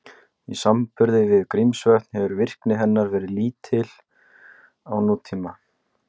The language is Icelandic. Í samanburði við Grímsvötn hefur virkni hennar verið lítil á nútíma.